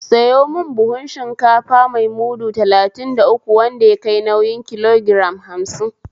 Sayo mun buhun shinkafa mai mudu talatin da uku wanda yakai nauyin kilogiram hamsin